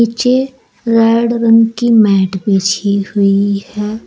नीचे रेड रंग की मैट बिछी हुई है।